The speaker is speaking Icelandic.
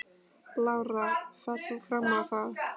Lára: Ferð þú fram á það?